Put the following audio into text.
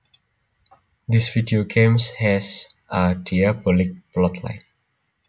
This video game has a diabolic plotline